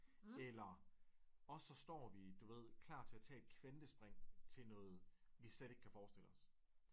Eller også så står vi du ved klar til at tage et kvantespring til noget vi slet ikke kan forestille os